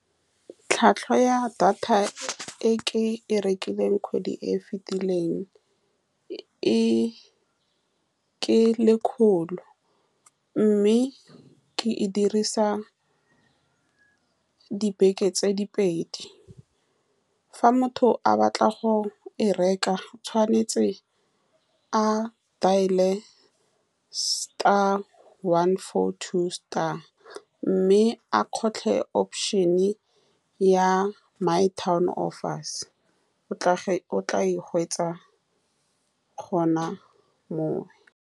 Tlhwatlhwa ya data e ke e rekileng kgwedi e e fitileng e, ke lekgolo, mme ke e dirisa dibeke tse di pedi. Fa motho a batla go e reka, o tshwanetse a dial-e one four two star, mme a kgotlhe option-e ya my town offers. O tla o tla e hwetša gone moo.